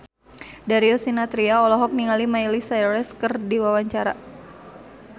Darius Sinathrya olohok ningali Miley Cyrus keur diwawancara